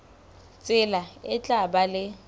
tsela e tla ba le